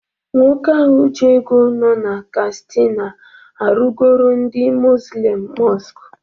Nwoke ahụ ji ego nọ na kastina arụgoro ndị muzlim mọsk